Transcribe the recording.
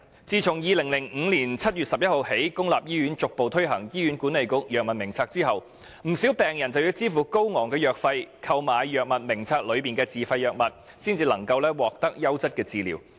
自2005年7月11日起，公立醫院逐步推行《醫院管理局藥物名冊》後，不少病人便要支付高昂費用，購買《藥物名冊》內的自費藥物，然後才能獲得優質治療。